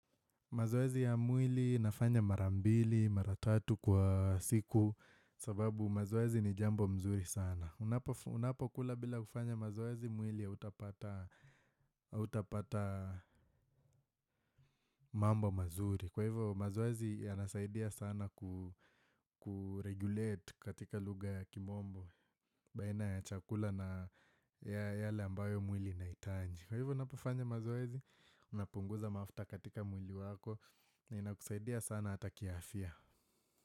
Mazoezi ya mwili nafanya marambili, maratatu kwa siku sababu mazoezi ni jambo mzuri sana. Unapo kula bila kufanya mazoezi mwili ya hautapata mambo mazuri. Kwa hivyo mazoezi ya nasaidia sana kuregulate katika lugha ya kimombo, baina ya chakula na yale ambayo mwili na inahitaji. Kwa hivyo unapufanya mazoezi, unapunguza mafuta katika mwili wako na inakusaidia sana hata kiafya.